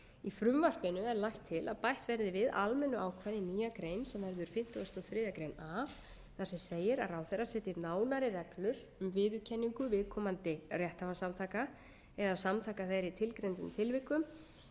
í frumvarpinu er lagt er til að bætt verði við almennu ákvæði í nýja grein sem verður fimmtugasta og þriðju grein a þar sem segir að ráðherra setji nánari reglur um viðurkenningu viðkomandi rétthafasamtaka eða samtaka þeirra í tilgreindum tilvikum sem meðal annars fela í sér ákvæði